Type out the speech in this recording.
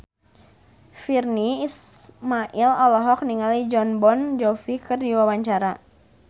Virnie Ismail olohok ningali Jon Bon Jovi keur diwawancara